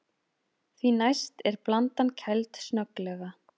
Því næst er blandan kæld snögglega.